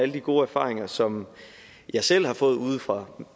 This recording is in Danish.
de gode erfaringer som jeg selv har fået fra